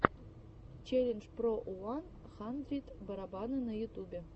челлендж про уан хандрид барабаны на ютубе